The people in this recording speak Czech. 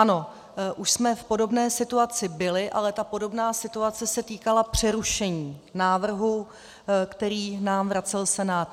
Ano, už jsme v podobné situaci byli, ale ta podobná situace se týkala přerušení návrhu, který nám vracel Senát.